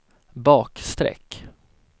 bakstreck